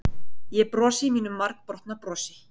Ég brosi mínu margbrotna brosi.